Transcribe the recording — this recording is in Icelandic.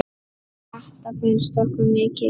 Þetta fannst okkur mikið sport.